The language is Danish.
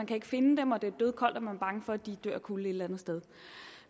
kan finde dem og det er dødkoldt og man er bange for at de dør af kulde et eller andet sted